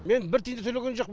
мен бір тиын да төлеген жоқпын